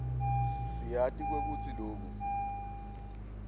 siyati kwekutsi loku